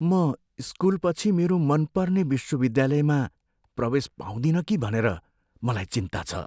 म स्कुलपछि मेरो मनपर्ने विश्वविद्यालयमा प्रवेश पाउँदिन कि भनेर मलाई चिन्ता छ।